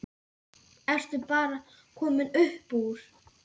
Ertu bara komin upp úr?